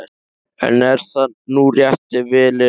En er það nú rétt ef vel er að gáð?